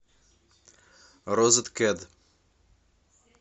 розеткед